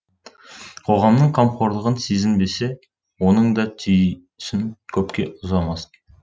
қоғамның қамқорлығын сезінбесе оның да түйсін көпке ұзамасын